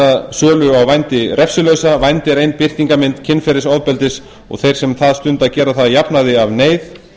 að gera sölu á vændi refsilausa vændi er ein birtingarmynd kynferðisofbeldis og þeir sem það stunda gera það að jafnaði af neyð